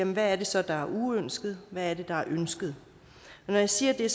hvad er det så der er uønsket hvad er det der er ønsket når jeg siger